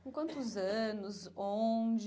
Com quantos anos, onde?